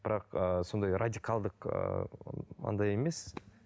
бірақ ыыы сондай радикалдық ыыы андай емес